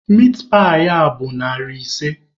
Mitpaị a bụ narị ise.